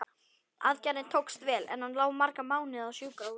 Aðgerðin tókst vel, en hann lá marga mánuði á sjúkrahúsinu.